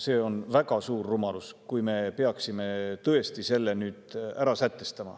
See oleks väga suur rumalus, kui me peaksime selle nüüd tõesti ära sätestama.